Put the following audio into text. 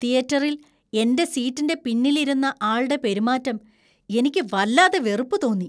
തിയേറ്ററിൽ എന്‍റെ സീറ്റിന്‍റെ പിന്നിൽ ഇരുന്ന ആൾടെ പെരുമാറ്റം എനിക്ക് വല്ലാതെ വെറുപ്പ് തോന്നി .